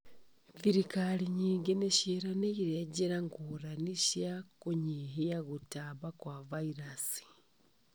Thirikari nyingĩ nĩcianĩrĩire njĩra ngũrani cia kũnyihia gũtamba kwa vairaci